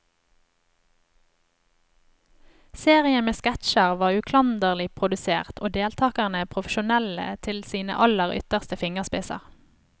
Serien med sketsjer var uklanderlig produsert og deltagerne profesjonelle til sine aller ytterste fingerspisser.